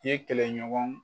I ye kɛlɛɲɔgɔn